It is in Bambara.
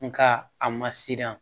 Nka a ma siran